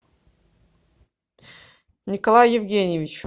николаю евгеньевичу